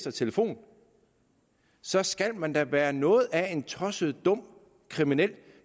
og telefoner så skal man da være noget af en tosset og dum kriminel